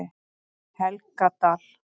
Helgadal